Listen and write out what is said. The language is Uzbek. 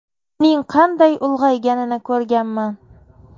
Uning qanday ulg‘ayganini ko‘rganman.